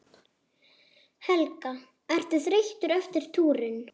Helga: Ertu þreyttur eftir túrinn?